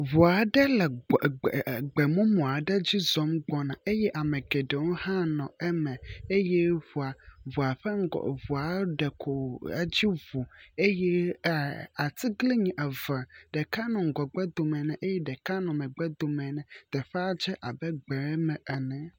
ʋu aɖe le gbemumu aɖe dzi zɔm. gbɔna eye amegeɖewo hã nɔ eme eye ʋua ƒe ŋgɔ ʋua ɖeko ɛtsi vo eye atiglinyi eve ɖeka nɔ ŋgɔgbe dome nɛ eye ɖeka nɔ mɛgbɛ domɛ nɛ teƒa dze abe gbɛme ene